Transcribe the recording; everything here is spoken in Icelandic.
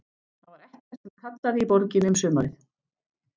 Það var ekkert sem kallaði í borginni um sumarið.